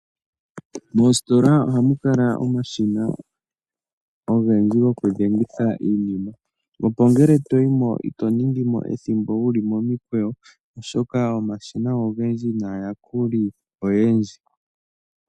Moositola ohamu kala omashina ogendji gokudhengitha iinima, opo ngele to yi mo ito ningi mo ethimbo wu li momikweyo, oshoka omashina ogendji naayakuli oyendji.